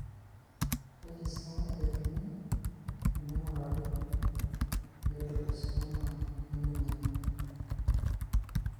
Kaji sa eikoni teneing'urari eadenocarcinoma eminyor?